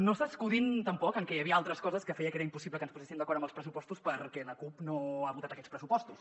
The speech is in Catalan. no s’escudin tampoc en què hi havia altres coses que feien que fos impossible que ens poséssim d’acord amb els pressupostos perquè la cup no ha votat aquests pressupostos